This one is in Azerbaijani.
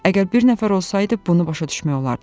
Əgər bir nəfər olsaydı, bunu başa düşmək olardı.